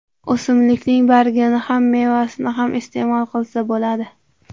O‘simlikning bargini ham mevasini ham iste’mol qilsa bo‘ladi.